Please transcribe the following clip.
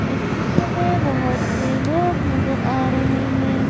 इस चित्र में बहोतसे लोग नज़र आ रहे हैं।